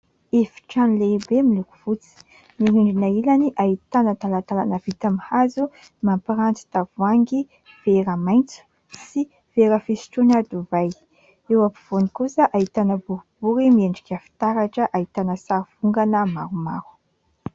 Efitrano lehibe miloko fotsy, mirindrina ilany, ahitana talatalana vita amin'ny hazo mampiranty tavoangy vera maintso sy vera fisotroana divay. Eo ampovoany kosa ahitana boribory miendrika fitaratra, ahitana sary vongana maromaro.